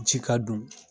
Ji ka don